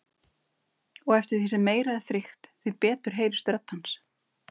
Og eftir því sem meira er þrykkt, því betur heyrist rödd hans.